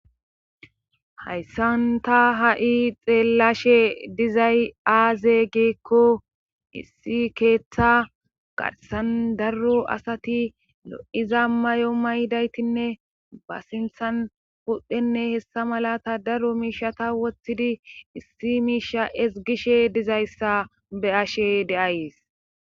hayssanta ha7i xeellashe dizay aaze geekko issi keeththa qarsan darro asati lo7iza may7o maydaytinne ba sinthan pudhdhenne hessa malata darro miishata woththidi issi miisha esgishe dizayssa be ashe deays